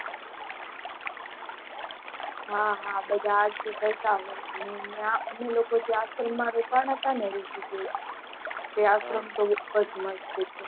હા હા બધા આરતી કરતા હોય, નયા અમે લોકો જ્યાં આશારામ માં રોકાણા હતા ને રીશીકેશ તે અર્શ્રમ તો બૌજ મસ્ત છે